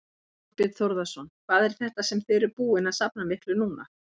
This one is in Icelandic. Þorbjörn Þórðarson: Hvað er þetta sem þið eruð búin að safna miklu núna?